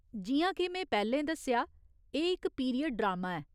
जि'यां के में पैह्‌लें दस्सेआ, एह् इक पीरियड ड्रामा ऐ।